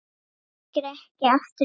Þekkir ekki aftur líf sitt